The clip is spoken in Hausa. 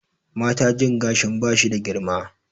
Mata jin gashin ba shi da girma